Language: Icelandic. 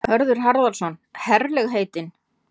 Hörður Harðarson: Herlegheitin?